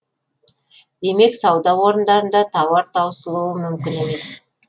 демек сауда орындарында тауар таусылуы мүмкін емес